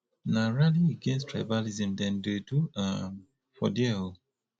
na rally against tribalism dem dey do um for there o